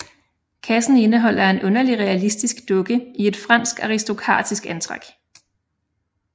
Kassen indeholder en underligt realistisk dukke i et fransk aristokratisk antræk